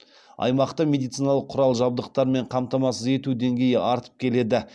аймақта медициналық құрал жабдықтармен қамтамасыз ету деңгейі артып келеді